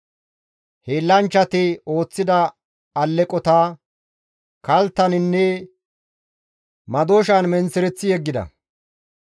Hiillanchchati ooththida alleqota kalttaninne madooshan menththereththi yeggida.